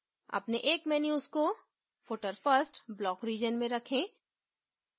अपने एक menus को footer first block region में रखें